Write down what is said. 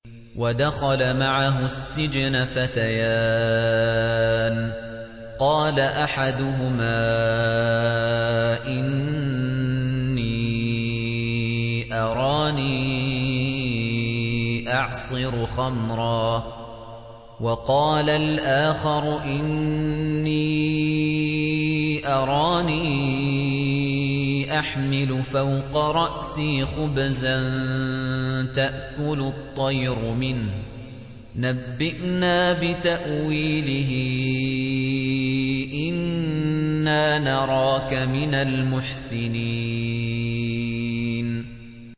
وَدَخَلَ مَعَهُ السِّجْنَ فَتَيَانِ ۖ قَالَ أَحَدُهُمَا إِنِّي أَرَانِي أَعْصِرُ خَمْرًا ۖ وَقَالَ الْآخَرُ إِنِّي أَرَانِي أَحْمِلُ فَوْقَ رَأْسِي خُبْزًا تَأْكُلُ الطَّيْرُ مِنْهُ ۖ نَبِّئْنَا بِتَأْوِيلِهِ ۖ إِنَّا نَرَاكَ مِنَ الْمُحْسِنِينَ